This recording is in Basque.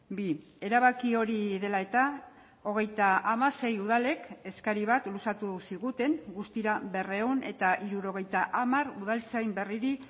bi erabaki hori dela eta hogeita hamasei udalek eskari bat luzatu ziguten guztira berrehun eta hirurogeita hamar udaltzain berriri